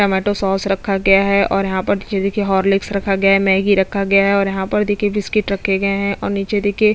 tomato sauce रखा गया है और यहाँ पर नीचे देखिये हॉर्लिक्स रखा गया है मैगी रखा गया है और यहाँ पर देखिये बिस्किट रखे गए है और नीचे देखिये--